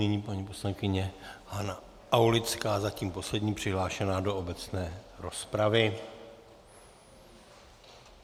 Nyní paní poslankyně Hana Aulická, zatím poslední přihlášená do obecné rozpravy.